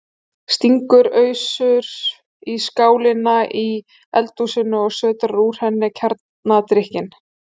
Stingur ausu í skálina í eldhúsinu og sötrar úr henni kjarnadrykkinn.